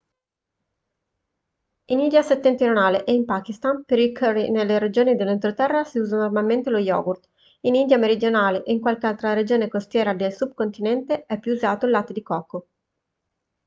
in india settentrionale e in pakistan per i curry nelle regioni dell'entroterra si usa normalmente lo yogurt in india meridionale e in qualche altra regione costiera del subcontinente è più usato il latte di cocco